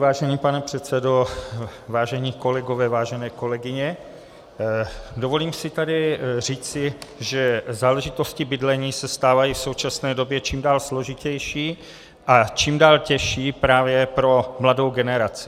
Vážený pane předsedo, vážení kolegové, vážené kolegyně, dovolím si tady říci, že záležitosti bydlení se stávají v současné době čím dál složitější a čím dál těžší právě pro mladou generaci.